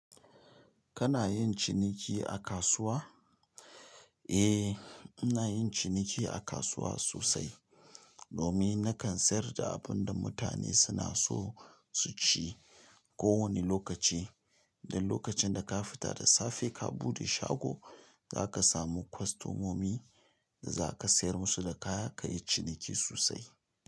Kana yin ciniki a kasuwa? Eh ina yin ciniki a kasuwa sosai. Domin na kan sayar da abunda mutane suna so su ci ko wane lokaci. Dan lokacin da ka fita da safe ka bude shago, zaka samu kwastomomi da zaka sayar musu da kaya ka yi ciniki sosai.